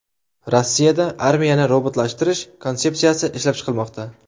Rossiyada armiyani robotlashtirish konsepsiyasi ishlab chiqilmoqda.